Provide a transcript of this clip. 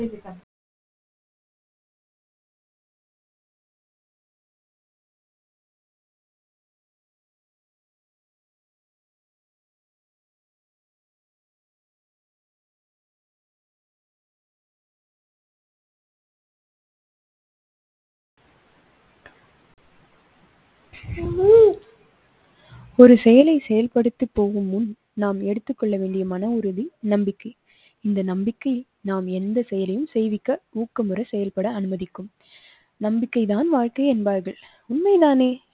ஒரு செயலை செயல்படுத்து போகும் முன் நாம் எடுத்துக்கொள்ள வேண்டிய மன உறுதி நம்பிக்கை. இந்த நம்பிக்கை நாம் எந்த செயலையும் செய்விக்க ஊக்க முற செயல்பட அனுமதிக்கும், நம்பிக்கை தான் வாழ்க்கை என்பார்கள் உண்மைதானே